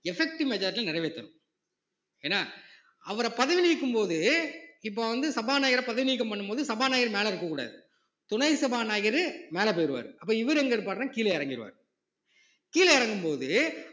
effective majority ல நிறைவேத்தணும் ஏன்னா அவரை பதவி நீக்கும்போது இப்ப வந்து சபாநாயகரை பதவி நீக்கம் பண்ணும் போது சபாநாயகர் மேல இருக்கக் கூடாது துணை சபாநாயகரு மேல போயிருவாரு அப்ப இவரு எங்க இருப்பாருன்னா கீழே இறங்கிடுவாரு கீழே இறங்கும் போது